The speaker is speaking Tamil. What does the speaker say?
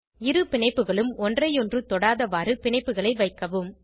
இரு பிணைப்புகளும் ஒன்றையொன்று தொடாதவாறு பிணைப்புகளை வைக்கவும்